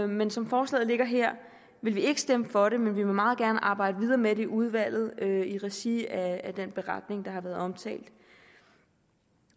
men som forslaget ligger her vil vi ikke stemme for det men vi vil meget gerne arbejde videre med det i udvalget i regi af den beretning der har været omtalt